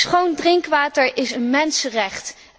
Schoon drinkwater is een mensenrecht.